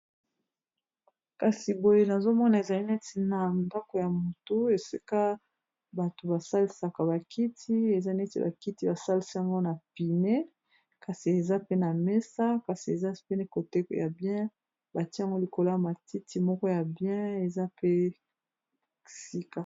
Kasi boye nazomona ezali neti na ndako ya mutu, esika bato basalisaka bakiti, eza neti bakiti basalisiyango na pine, kasi eza pe na mesa, kasi eza pine bien batiaango likolo ya matiti moko ya bien eza pe ya sika.